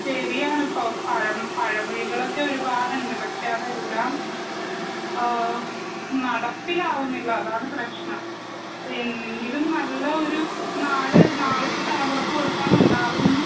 ശെരിയാണ് പ്പൊ പഴം പഴമൊഴികളൊക്കെ ഒരുപാട്ണ്ട് പക്ഷെ അതെല്ലാം ആ നടപ്പിലാവുന്നില്ല അതാണ് പ്രശ്‌നം അപ്പെന്നെങ്കിലും നല്ല ഒരു നാട് നാളത്തെ തലമുറക്ക് കൊടുക്കാനുണ്ടാവും ന്ന്